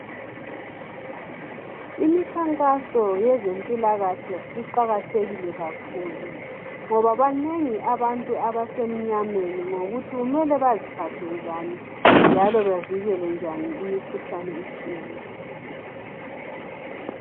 Imikhankaso yezempilakahle iqakathekile kakhulu ngoba banengi abantu abasemnyameni ngokuthi kumele baziphathe njani njalo bavikelenjani imikhuhlane etshiyeneyo.